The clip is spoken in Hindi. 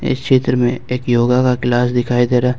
इस चित्र में एक योगा का क्लास दिखाई दे रहा--